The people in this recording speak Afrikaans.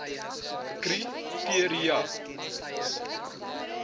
kri teria eie